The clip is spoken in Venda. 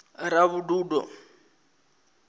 ravhududo